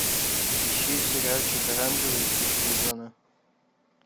ищи сериальчик оранжевый хит сезона